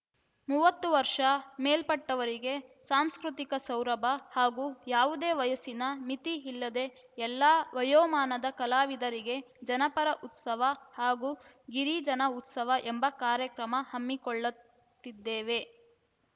ಮೂವತ್ತು ವರ್ಷ ಮೇಲ್ಪಟ್ಟವರಿಗೆ ಸಾಂಸ್ಕೃತಿಕ ಸೌರಭ ಹಾಗೂ ಯಾವುದೇ ವಯಸ್ಸಿನ ಮಿತಿ ಇಲ್ಲದೆ ಎಲ್ಲ ವಯೋಮಾನದ ಕಲಾವಿದರಿಗೆ ಜನಪರ ಉತ್ಸವ ಹಾಗೂ ಗಿರಿಜನ ಉತ್ಸವ ಎಂಬ ಕಾರ್ಯಕ್ರಮ ಹಮ್ಮಿಕೊಳ್ಳುತ್ತಿದ್ದೇವೆ